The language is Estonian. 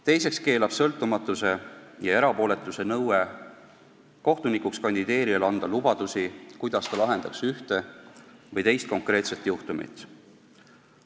Teiseks keelab sõltumatuse ja erapooletuse nõue kohtunikuks kandideerijal anda lubadusi, kuidas ta lahendaks ühte või teist konkreetset juhtumit.